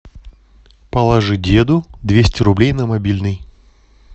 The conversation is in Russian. положи деду двести рублей на мобильный